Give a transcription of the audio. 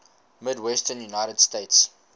midwestern united states